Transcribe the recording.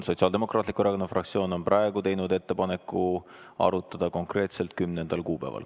Sotsiaaldemokraatliku Erakonna fraktsioon on praegu teinud ettepaneku arutada seda konkreetselt 10. kuupäeval.